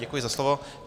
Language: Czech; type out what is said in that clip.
Děkuji za slovo.